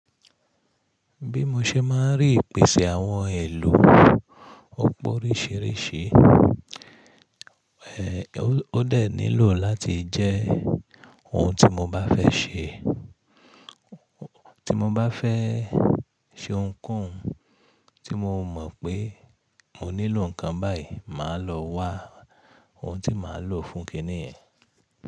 Bí mo ṣe máa rí ìpèsè àwọn èlò ọ̀pọ̀ oríṣìíríṣìí, ẹ́, ó dẹ̀ nílò láti jẹ́ ohun tí mo bá fẹ́ ṣe, tí mo bá fẹ́ ṣe ohunkóhun tí mo mọ̀ pé mo nílò nǹkan báyìí, màá lọ wá ohun tí màá lò fún kíní yẹ̀n.